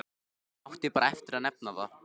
Hann átti bara eftir að nefna það.